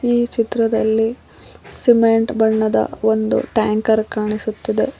ಈ ಚಿತ್ರದಲ್ಲಿ ಸಿಮೆಂಟ್ ಬಣ್ಣದ ಒಂದು ಟ್ಯಾಂಕರ್ ಕಾಣಿಸುತ್ತಿದೆ.